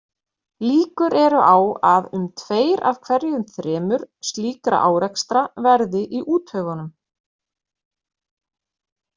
Líkur eru á að um tveir af hverju þremur slíkra árekstra verði í úthöfunum.